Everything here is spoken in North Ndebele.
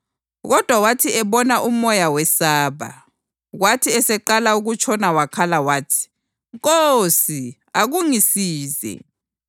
Kodwa wathi ebona umoya wesaba, kwathi eseqala ukutshona wakhala wathi, “Nkosi, akungisize!”